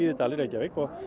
í dalinn